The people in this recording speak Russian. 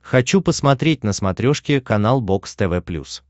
хочу посмотреть на смотрешке канал бокс тв плюс